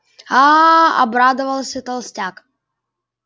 аа обрадовался толстяк